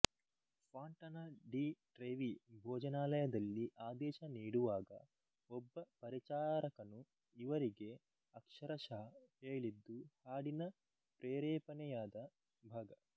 Fontana di Trevi ಭೋಜನಾಲಯದಲ್ಲಿ ಆದೇಶ ನೀಡುವಾಗ ಒಬ್ಬ ಪರಿಚಾರಕನು ಇವರಿಗೆ ಅಕ್ಷರಶಃ ಹೇಳಿದ್ದು ಹಾಡಿನ ಪ್ರೇರೇಪಣೆಯಾದ ಭಾಗ